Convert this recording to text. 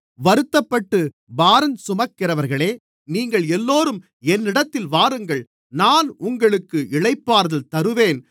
வருத்தப்பட்டுப் பாரஞ்சுமக்கிறவர்களே நீங்கள் எல்லோரும் என்னிடத்தில் வாருங்கள் நான் உங்களுக்கு இளைப்பாறுதல் தருவேன்